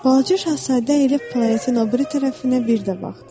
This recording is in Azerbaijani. Balaca Şahzadə elə planetin o biri tərəfinə bir də baxdı.